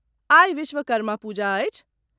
आइ विश्वकर्मा पूजा अछि।